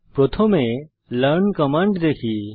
প্রথমে learn command দেখি